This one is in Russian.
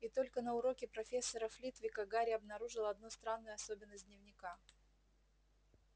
и только на уроке профессора флитвика гарри обнаружил одну странную особенность дневника